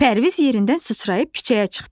Pərviz yerindən sıçrayıb küçəyə çıxdı.